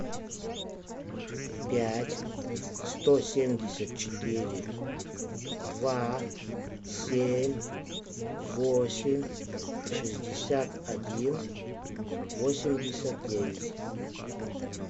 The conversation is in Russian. пять сто семьдесят четыре два семь восемь шестьдесят один восемьдесят девять